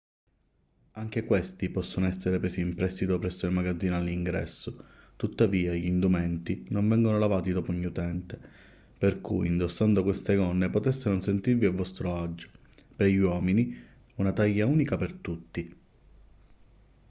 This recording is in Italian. anche questi possono essere presi in prestito presso il magazzino all'ingresso tuttavia gli indumenti non vengono lavati dopo ogni utente per cui indossando queste gonne potreste non sentirvi a vostro agio per gli uomini una taglia unica per tutti